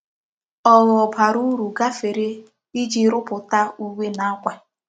Ogho bara uru gafere Iji ruputa uwe na akwa.